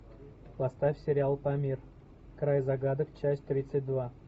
поставь сериал памир край загадок часть тридцать два